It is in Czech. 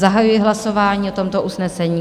Zahajuji hlasování o tomto usnesení.